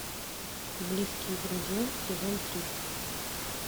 близкие друзья сезон три